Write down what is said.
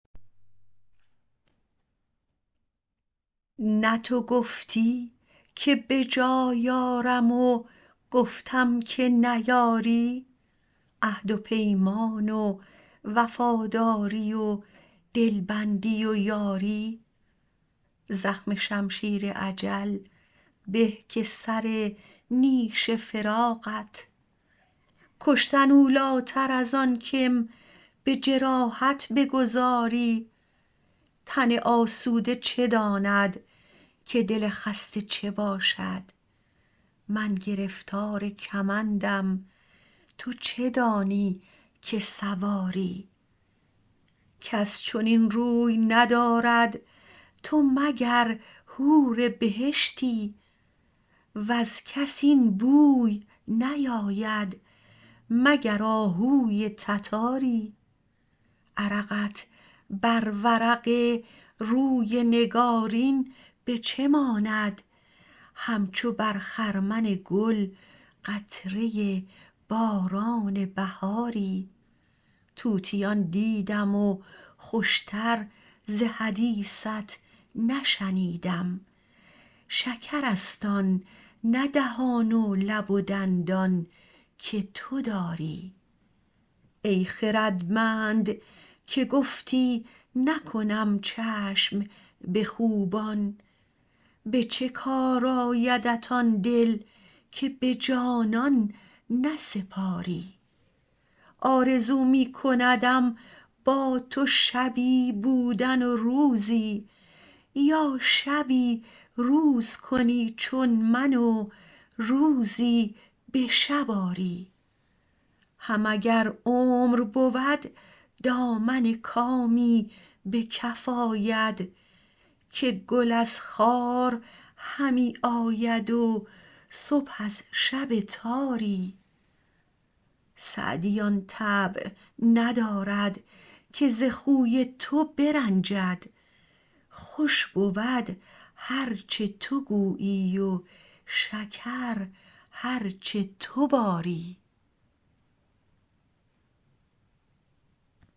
نه تو گفتی که به جای آرم و گفتم که نیاری عهد و پیمان و وفاداری و دلبندی و یاری زخم شمشیر اجل به که سر نیش فراقت کشتن اولاتر از آن که م به جراحت بگذاری تن آسوده چه داند که دل خسته چه باشد من گرفتار کمندم تو چه دانی که سواری کس چنین روی ندارد تو مگر حور بهشتی وز کس این بوی نیاید مگر آهوی تتاری عرقت بر ورق روی نگارین به چه ماند همچو بر خرمن گل قطره باران بهاری طوطیان دیدم و خوش تر ز حدیثت نشنیدم شکرست آن نه دهان و لب و دندان که تو داری ای خردمند که گفتی نکنم چشم به خوبان به چه کار آیدت آن دل که به جانان نسپاری آرزو می کندم با تو شبی بودن و روزی یا شبی روز کنی چون من و روزی به شب آری هم اگر عمر بود دامن کامی به کف آید که گل از خار همی آید و صبح از شب تاری سعدی آن طبع ندارد که ز خوی تو برنجد خوش بود هر چه تو گویی و شکر هر چه تو باری